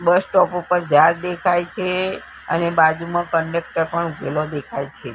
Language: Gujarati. બસ સ્ટોપ ઉપર ઝાડ દેખાય છે અને બાજુમા કંડકટર પણ ઉભેલો દેખાય છે.